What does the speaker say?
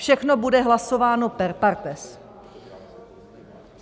Všechno bude hlasováno per partes.